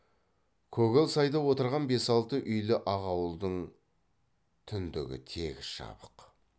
көгал сайда отырған бес алты үйлі ақ ауылдың түндігі тегіс жабық